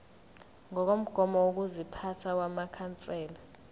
ngokomgomo wokuziphatha wamakhansela